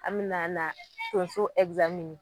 An be na na tonso